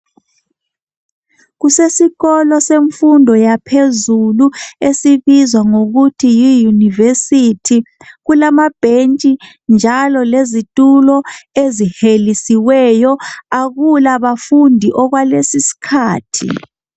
Kusesikolo semfundo yaphezulu esibizwa ngokuthi yi university kulama betshi njalo lezitulo ezihelisiweyo akula bafundi okwalesi isikhathi.